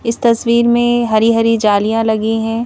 इस तस्वीर में हरी-हरी जालियां लगी हैं.